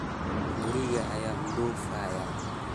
guriga ayaan u dhoofayaa